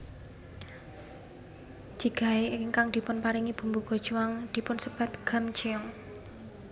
Jjigae ingkang dipunparingi bumbu gochujang dipunsebat gamjeong